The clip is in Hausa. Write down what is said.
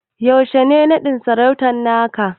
Yaushe ne naɗin sarautan naka?